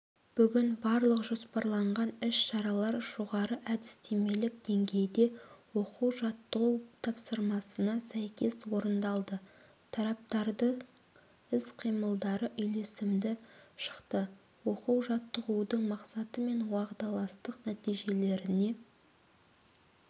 бүгін барлық жоспарланған іс-шаралар жоғары әдістемелік деңгейде оқу-жаттығу тапсырмасына сәйкес орындалды тараптардың іс-қимылдары үйлесімді шықты оқу-жаттығудың мақсаты мен уағдаластық нәтижелеріне